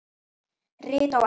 Rit á ensku